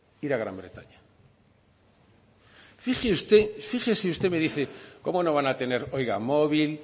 ir a gran bretaña fíjese usted me dice como no van a tener oiga móvil